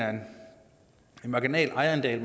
marginal ejerandel